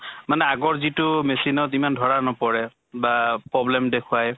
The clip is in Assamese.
মানে আগৰ যিটো machine ত ইমান ধৰা নপৰে বা problem দেখুৱায়